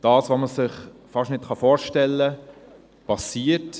Was man sich kaum vorstellen kann, passiert.